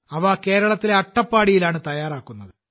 അവ കേരളത്തിലെ അട്ടപ്പാടിയിലാണ് തയ്യാറാക്കുന്നത്